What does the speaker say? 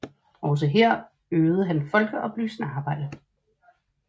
Også her øvede han folkeoplysende arbejde